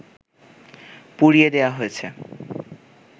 পুড়িয়ে দেয়া হয়েছে